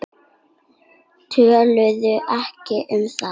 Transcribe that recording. Töluðu ekki um það.